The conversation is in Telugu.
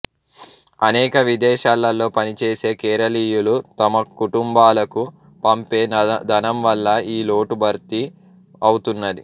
కాని విదేశాలలో పనిచేసే కేరళీయులు తమకుటుంబాలకు పంపే ధనంవల్ల ఈ లోటు భర్తీ అవుతున్నది